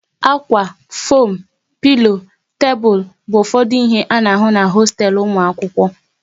Ákwá, foam, pilo, tebụl bụ ụfọdụ ihe a na-ahụ n'hosteelu ụmụ akwụkwọ